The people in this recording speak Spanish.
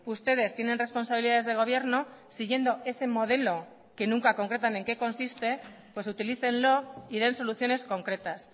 ustedes tienen responsabilidades de gobierno siguiendo ese modelo que nunca concretan en qué consiste pues utilícenlo y den soluciones concretas